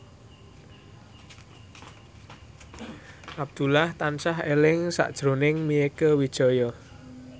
Abdullah tansah eling sakjroning Mieke Wijaya